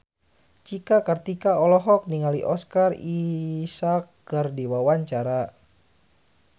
Cika Kartika olohok ningali Oscar Isaac keur diwawancara